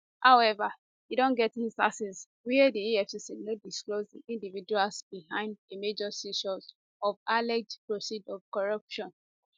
however e don get instances wia di efcc no disclose di individuals behind a major seizure of alleged proceeds of corruption